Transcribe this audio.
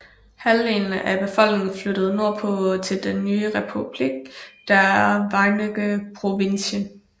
Halvdelen af befolkningen flyttede nordpå til den nye Republiek der Verenigde Provinciën